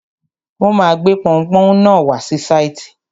Wọ́n ma gbé pọunpọ́ún náà wá sí sáìtì.